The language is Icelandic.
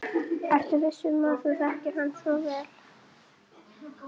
Ertu viss um að þú þekkir hann svo vel?